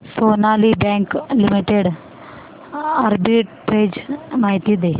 Sonali bank limited arbitrage माहिती दे